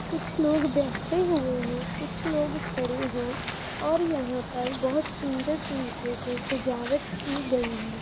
कुछ लोग बैठे हुए हैं कुछ लोग खड़े हैं और यहां पर बहोत सुंदर तरीके से सजावट की गई है ।